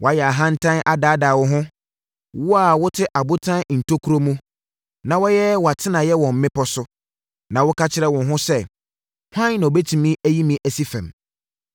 Wayɛ ahantan adaadaa wo ho, Wo a wote abotan ntokuro mu na wayɛ wʼatenaeɛ wɔ mmepɔ so, na woka kyerɛ wo ho sɛ, ‘Hwan na ɔbɛtumi ayi me asi fam?’